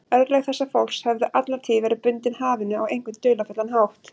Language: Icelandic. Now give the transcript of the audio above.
Örlög þessa fólks höfðu alla tíð verið bundin hafinu á einhvern dularfullan hátt.